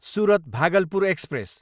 Surat, Bhagalpur express